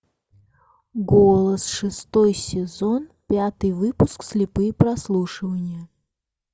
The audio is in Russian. голос шестой сезон пятый выпуск слепые прослушивания